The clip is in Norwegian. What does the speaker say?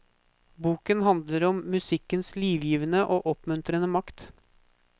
Boken handler om musikkens livgivende og oppmuntrende makt.